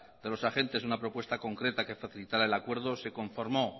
de los agentes una propuesta concreta que facilitara el acuerdo se conformó